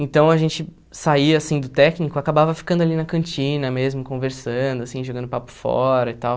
Então, a gente saía, assim, do técnico, acabava ficando ali na cantina mesmo, conversando, assim, jogando papo fora e tal.